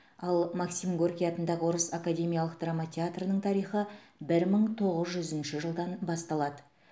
ал максим горький атындағы орыс академиялық драма театрының тарихы бір мың тоғыз жүзінші жылдан басталады